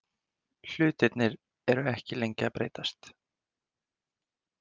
Hlutirnir eru ekki lengi að breytast.